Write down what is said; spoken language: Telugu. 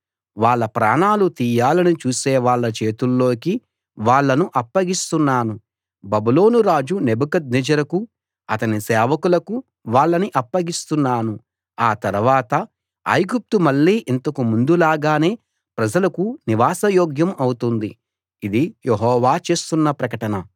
వాళ్ళ ప్రాణాలు తీయాలని చూసే వాళ్ళ చేతుల్లోకి వాళ్ళను అప్పగిస్తున్నాను బబులోను రాజు నెబుకద్నెజరుకూ అతని సేవకులకూ వాళ్ళని అప్పగిస్తున్నాను ఆ తర్వాత ఐగుప్తు మళ్ళీ ఇంతకు ముందు లాగానే ప్రజలకు నివాస యోగ్యం అవుతుంది ఇది యెహోవా చేస్తున్న ప్రకటన